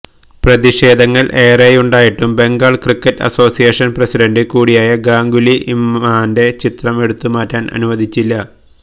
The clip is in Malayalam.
പ്രതിഷേധങ്ങൾ ഏറെയുണ്ടായിട്ടും ബംഗാൾ ക്രിക്കറ്റ് അസോസിയേഷൻ പ്രസിഡന്റ് കൂടിയായ ഗാംഗുലി ഇമ്രാന്റെ ചിത്രം എടുത്തു മാറ്റാൻ അനുവദിച്ചില്ല